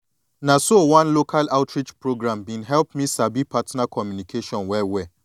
na so one local outreach program been help me sabi partner communication well well